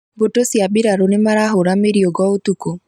Mbũtũ cia mbirarũ nĩmarahũra mĩriũngo ũtukũ